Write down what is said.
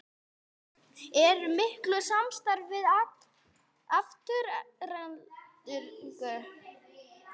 Eruði í miklu samstarfi við Aftureldingu?